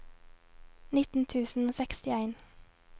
nittien tusen og sekstien